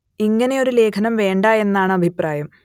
ഇങ്ങനെ ഒരു ലേഖനം വേണ്ട എന്നാണ് അഭിപ്രായം